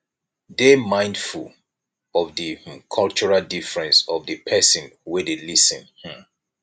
dey mindful of di um cultural difference of di person wey dey lis ten um